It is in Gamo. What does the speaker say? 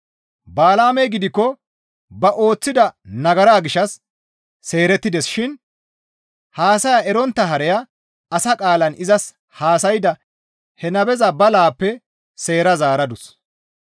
Bala7aamey gidikko ba ooththida nagara gishshas seerettides shin haasaya erontta hareya asa qaalan izas haasayada he nabeza balaappe seera zaaradus.